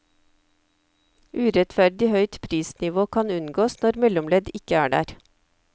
Urettferdig høyt prisnivå kan unngås, når mellomledd ikke er der.